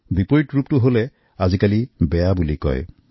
যদি বিপৰীত অৱস্থানত থাকে তেন্তে সমাজে আপোনাক বেয়া চকুৰে চাব